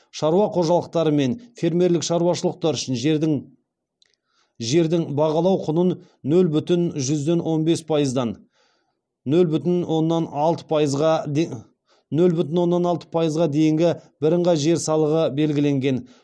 шаруа қожалықтары мен фермерлік шаруашылықтар үшін жердің бағалау құнын нөл бүтін жүзден он бес пайыздан нөл бүтін оннан алты пайызға дейінгі бірыңғай жер салығы белгіленген